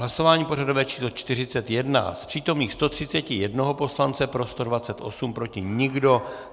Hlasování pořadové číslo 41, z přítomných 131 poslance pro 128, proti nikdo.